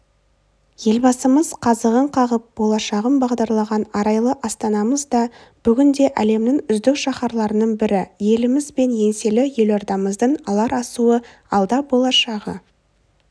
елбасымыз қазығын қағып болашағын бағдарлаған арайлы астанамыз да бүгінде әлемнің үздік шаһарларының бірі еліміз бен еңселі елордамыздың алар асуы алда болашағы